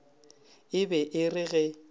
e be e re ge